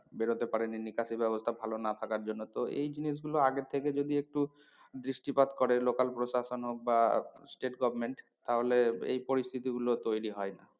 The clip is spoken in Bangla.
বেরোতে পারেনি নিকাশি ব্যবস্থা ভালো না থাকার জন্য তো এই জিনিস গুলো আগে থেকে যদি একটু দৃষ্টিপাত করে local প্রসাশন হোক বা state government তাহলে এই পরিস্থিতি গুলো তৈরী হয় না।